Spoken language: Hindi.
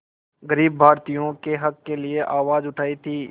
ग़रीब भारतीयों के हक़ के लिए आवाज़ उठाई थी